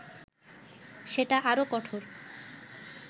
সেটা আরও কঠোর